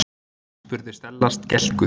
spurði Stella skelkuð.